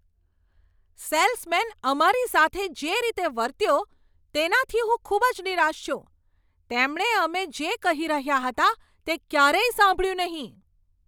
Salesman અમારી સાથે જે રીતે વર્ત્યો તેનાથી હું ખૂબ જ નિરાશ છું, તેમણે અમે જે કહી રહ્યા હતા તે ક્યારેય સાંભળ્યું નહીં.